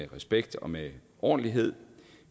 respekt og med ordentlighed